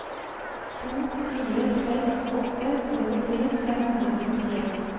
to fire seks åtte trettitre fem hundre og sekstien